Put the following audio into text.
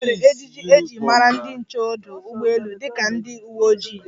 E nwere ejiji e ji mara ndi nche ọdụ ụgbọelu dịka ndi uwe ojii.